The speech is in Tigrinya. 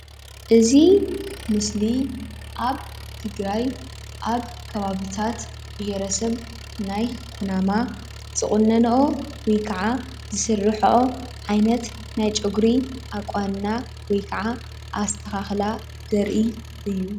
እዚ ምስሊ ኣብ ትግራይ ኣብ ከባብታት ብሄረሰብ ናይ ኩናማ ዝቑነንኦ ወይ ክዓ ዝስርሕኦ ዓይነት ናይ ፀጉሪ ኣቋንና ወይ ክዓ ኣስተኻኽላ ዘርኢ እዩ።